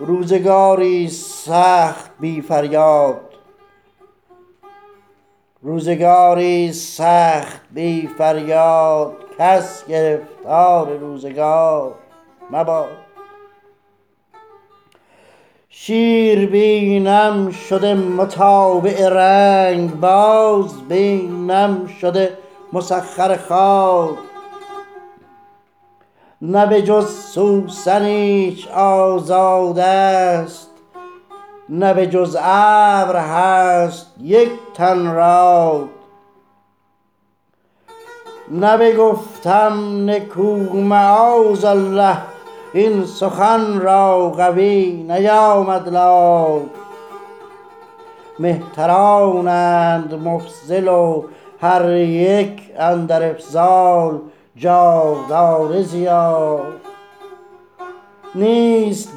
روزگاریست سخت بی فریاد کس گرفتار روزگار مباد شیر بینم شده متابع رنگ باز بینم شده مسخر خاد نه به جز سوسن ایچ آزادست نه به جز ابر هست یک تن راد نه بگفتم نکو معاذالله این سخن را قوی نیامد لاد مهترانند مفضل و هر یک اندر افضال جاودانه زیاد نیست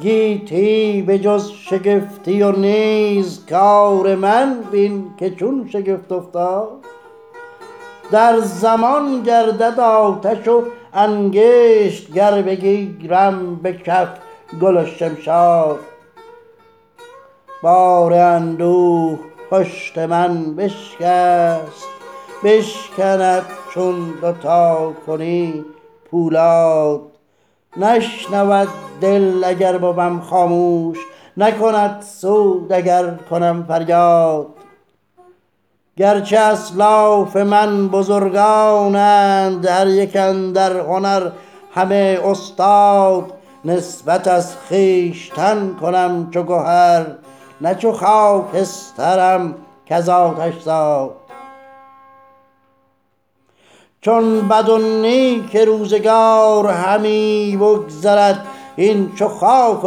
گیتی به جز شگفتی و نیز کار من بین که چون شگفت افتاد صد در افزون زدم به دست هنر که به من بر فلک یکی نگشاد در زمان گردد آتش و انگشت گر بگیرم به کف گل و شمشاد بار اندوه پشت من بشکست بشکند چون دو تا کنی پولاد نشنود دل اگر بوم خاموش نکند سود اگر کنم فریاد گرچه اسلاف من بزرگانند هر یک اندر هنر همه استاد نسبت از خویشتن کنم چو گهر نه چو خاکسترم کز آتش زاد چون بد و نیک روزگار همی بگذرد این چو خاک و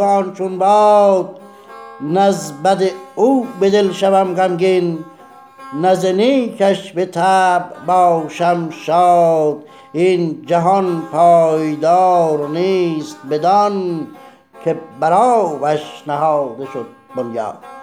آن چون باد نز بد او به دل شوم غمگین نه ز نیکش به طبع باشم شاد این جهان پایدار نیست بدان که بر آبش نهاده شد بنیاد